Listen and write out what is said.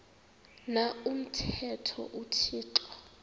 na umthetho uthixo